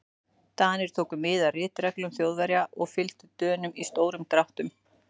Danir tóku mið af ritreglum Þjóðverja og við fylgdum Dönum í stórum dráttum.